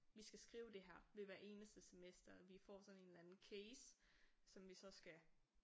Vi skal skrive det her ved hver eneste semester vi får sådan en eller anden case som vi så skal